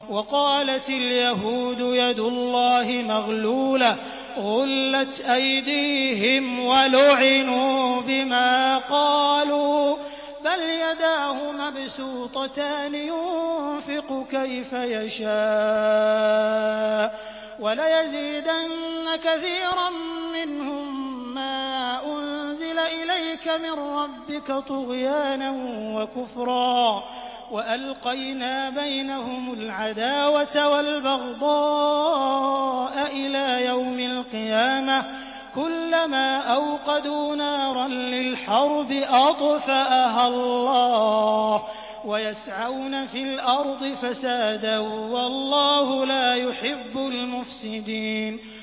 وَقَالَتِ الْيَهُودُ يَدُ اللَّهِ مَغْلُولَةٌ ۚ غُلَّتْ أَيْدِيهِمْ وَلُعِنُوا بِمَا قَالُوا ۘ بَلْ يَدَاهُ مَبْسُوطَتَانِ يُنفِقُ كَيْفَ يَشَاءُ ۚ وَلَيَزِيدَنَّ كَثِيرًا مِّنْهُم مَّا أُنزِلَ إِلَيْكَ مِن رَّبِّكَ طُغْيَانًا وَكُفْرًا ۚ وَأَلْقَيْنَا بَيْنَهُمُ الْعَدَاوَةَ وَالْبَغْضَاءَ إِلَىٰ يَوْمِ الْقِيَامَةِ ۚ كُلَّمَا أَوْقَدُوا نَارًا لِّلْحَرْبِ أَطْفَأَهَا اللَّهُ ۚ وَيَسْعَوْنَ فِي الْأَرْضِ فَسَادًا ۚ وَاللَّهُ لَا يُحِبُّ الْمُفْسِدِينَ